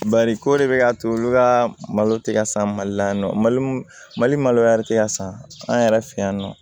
Bari ko de bɛ ka to olu ka malo tɛ ka san mali la yan nɔ mali maloya tɛ ka san an yɛrɛ fɛ yan nɔ